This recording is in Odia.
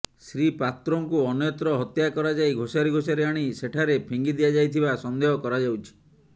ଶ୍ରୀ ପାତ୍ରଙ୍କୁ ଅନ୍ୟତ୍ର ହତ୍ୟା କରାଯାଇ ଘୋଷାରି ଘୋଷାରି ଆଣି ସେଠାରେ ଫିଙ୍ଗି ଦିଆଯାଇଥିିବା ସନ୍ଦେହ କରାଯାଉଛି